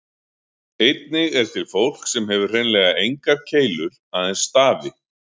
Einnig er til fólk sem hefur hreinlega engar keilur, aðeins stafi.